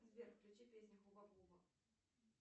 сбер включи песню хуба буба